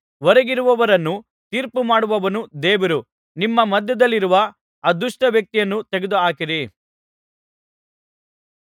ಹೊರಗಿರುವವರನ್ನು ತೀರ್ಪುಮಾಡುವವನು ದೇವರು ನಿಮ್ಮ ಮಧ್ಯದಲ್ಲಿರುವ ಆ ದುಷ್ಟ ವ್ಯಕ್ತಿಯನ್ನು ತೆಗೆದುಹಾಕಿರಿ